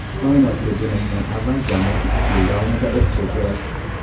Koinotga jo‘nashdan avval jamoa ikki yil davomida o‘qishi kerak.